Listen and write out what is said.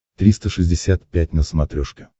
триста шестьдесят пять на смотрешке